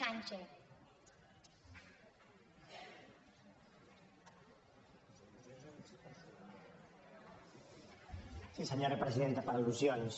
sí senyora presidenta per al·lusions